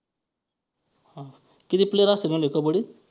हां किती player असत्यात म्हंटले कबड्डीत?